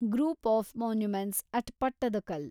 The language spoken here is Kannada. group of monuments at Pattadakal